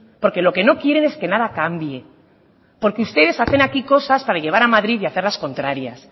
porque lo que no quieren es que nada cambie porque ustedes hacen aquí cosas para llevar a madrid y hacer las contrarias